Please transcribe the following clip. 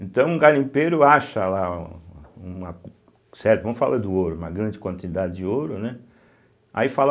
Então, o garimpeiro acha, lá um uma uma certo vamos falar do ouro, uma grande quantidade de ouro, né aí fala